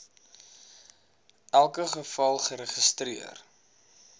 elke geval geregistreer